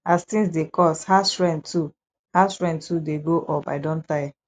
as tins dey cost house rent too house rent too dey go up i don tire